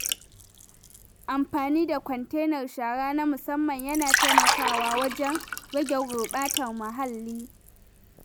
Amfani da kwantenar shara na musamman yana taimakawa wajen rage gurɓata muhalli.